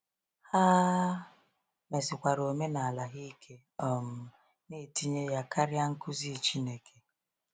Ha mesikwara omenala ha ike, um na-etinye ya karịa nkuzi Chineke.